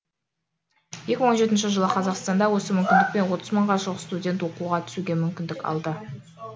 екі мың он жетінші жылы қазақстанда осы мүмкіндікпен отыз мыңға жуық студент оқуға түсуге мүмкіндік алды